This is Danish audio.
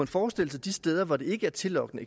forestille sig de steder hvor det ikke er tillokkende